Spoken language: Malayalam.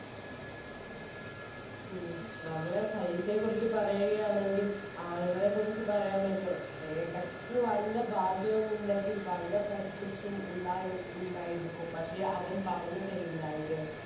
ഉം നമ്മളെ പരീക്ഷയെ കുറിച്ച് പറയുകയാണെങ്കിൽ ആളുകളെ കുറിച്ച് പറയാമല്ലോ എടക്ക് വല്ല ഭാഗ്യവും ഉണ്ടെങ്കിൽ വല്ല പഠിപ്പിസ്റ്റും ഉണ്ടായോ ഉണ്ടായിരിക്കും പക്ഷെ അവൻ പറഞ് തരില്ല അല്ലെ